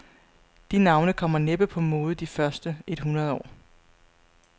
De navne kommer næppe på mode de første et hundrede år.